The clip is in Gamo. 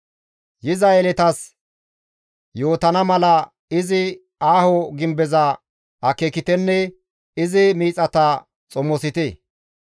Yiza yeletas yootana mala, izi aaho gimbeza akeekitenne izi miixata xomosite.